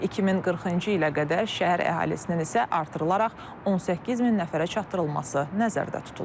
2040-cı ilə qədər şəhər əhalisinin isə artırılaraq 18 min nəfərə çatdırılması nəzərdə tutulur.